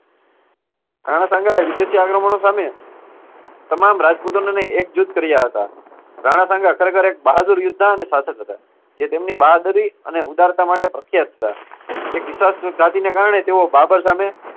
રાણા સાંઘાએ વિદેશી આક્રમણો સામે તમામ રાજપૂતોને એકજુથ કાર્ય હતા. રાણા સાંઘા ખરેખર એક બહાદુર યોદ્ધા અને શાસક હતા. જે તેમની બહાદુરી અને ઉદારતા માટે પ્રખ્યાત હતા. એક વિશાલ ને કારણે તેઓ બાબર સામે